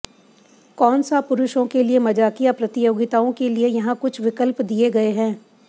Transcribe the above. कौन सा पुरुषों के लिए मजाकिया प्रतियोगिताओं के लिए यहां कुछ विकल्प दिए गए हैं